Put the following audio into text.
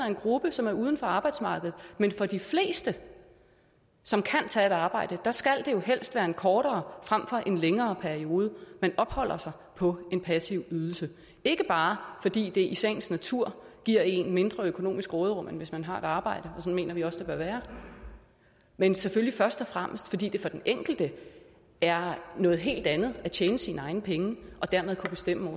en gruppe som er uden for arbejdsmarkedet men for de fleste som kan tage et arbejde skal det jo helst være en kortere frem for en længere periode man opholder sig på en passiv ydelse ikke bare fordi det i sagens natur giver et mindre økonomisk råderum end hvis man har et arbejde og sådan mener vi også det bør være men selvfølgelig først og fremmest fordi det for den enkelte er noget helt andet at tjene sine egne penge og dermed kunne bestemme